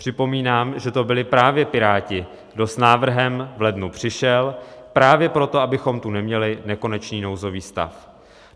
Připomínám, že to byli právě Piráti, kdo s návrhem v lednu přišel, právě proto, abychom tu neměli nekonečný nouzový stav.